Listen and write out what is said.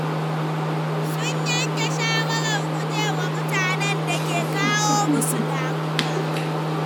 Sun yanke shawarar guje wa mutanen da ke kawo musu damuwa.